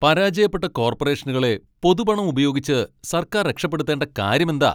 പരാജയപ്പെട്ട കോർപ്പറേഷനുകളെ പൊതുപണം ഉപയോഗിച്ച് സർക്കാർ രക്ഷപ്പെടുത്തേണ്ട കാര്യമെന്താ?